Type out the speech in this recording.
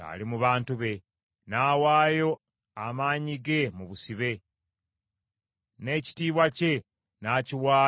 N’awaayo amaanyi ge mu busibe, n’ekitiibwa kye n’akiwaayo eri omulabe.